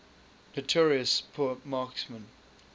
notorious poor marksmen